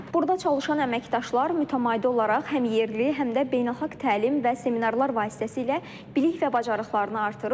Burda çalışan əməkdaşlar mütəmadi olaraq həm yerli, həm də beynəlxalq təlim və seminarlar vasitəsilə bilik və bacarıqlarını artırır.